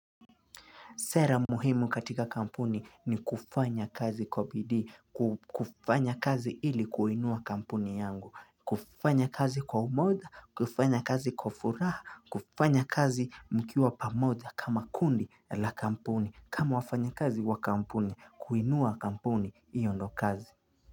Sera muhimu katika kampuni ni kufanya kazi kwa bidii kufanya kazi ili kuinua kampuni yangu, kufanya kazi kwa umoja, kufanya kazi kwa furaha, kufanya kazi mkiwa pamoja kama kundi la kampuni, kama wafanyikazi wa kampuni, kuinua kampuni hiyo ndo kazi.